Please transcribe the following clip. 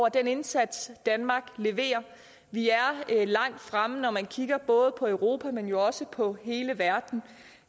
den indsats danmark leverer vi er langt fremme når man kigger på europa men også på hele verden